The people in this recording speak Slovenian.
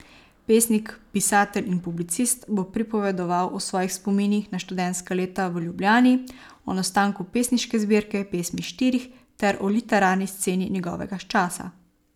Pesnik, pisatelj in publicist bo pripovedoval o svojih spominih na študentska leta v Ljubljani, o nastanku pesniške zbirke Pesmi štirih ter o literarni sceni njegovega časa.